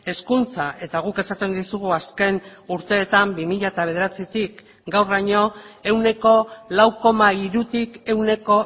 hezkuntza eta guk esaten dizugu azken urteetan bi mila bederatzitik gauraino ehuneko lau koma hirutik ehuneko